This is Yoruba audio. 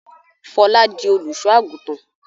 Fọlá di olùṣọ́-àgùntàn?